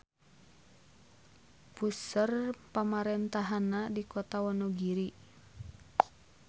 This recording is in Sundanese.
Puseur pamarentahannana di Kota Wonogiri.